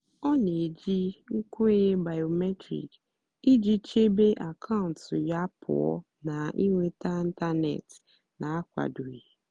ọ́ nà-èjì nkwènyé bìómétric ìjì chèbé àkàụ́ntụ́ yá pụ́ọ́ nà ị́nwètá ị́ntánètị́ nà-ákwádòghị́.